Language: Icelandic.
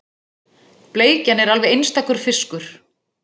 Bleikjan er alveg einstakur fiskur